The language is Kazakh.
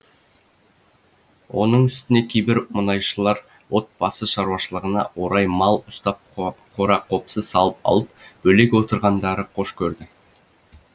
оның үстіне кейбір мұнайшылар отбасы шаруашылығына орай мал ұстап қора қопсы салып алып бөлек отырғанды қош көрді